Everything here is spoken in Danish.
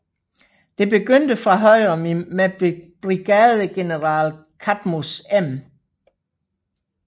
Det begyndte fra højre med brigadegeneral Cadmus M